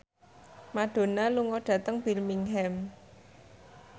Madonna lunga dhateng Birmingham